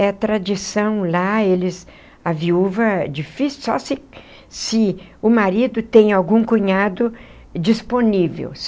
É tradição lá, eles... A viúva é difícil, só se se o marido tem algum cunhado disponível.